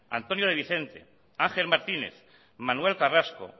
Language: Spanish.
antonio de vicente ángel martínez manuel carrasco